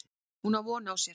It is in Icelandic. Hún á von á sér.